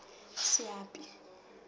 seapi